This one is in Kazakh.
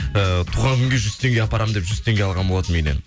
ііі туған күнге жүз теңге апарамын деп жүз теңге алған болатынмын үйден